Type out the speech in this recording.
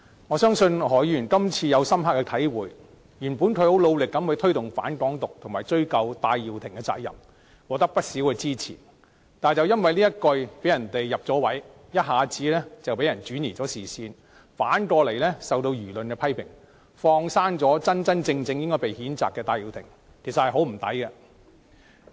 我相信何議員今次已有深刻的體會，原本他很努力地推動"反港獨"和追究戴耀廷的責任，獲得不少支持，但因為這一句被人趁機得逞，一下子被人轉移視線，反而受到輿論的批評，"放生了"真正應該被譴責的戴耀廷，其實很可惜。